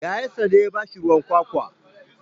Yayansa ya ba shi ruwan kwakwa.